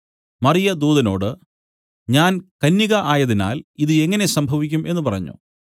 മറിയ ദൂതനോട് ഞാൻ കന്യക ആയതിനാൽ ഇതു എങ്ങനെ സംഭവിക്കും എന്നു പറഞ്ഞു